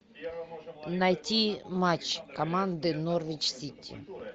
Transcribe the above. найти матч команды норвич сити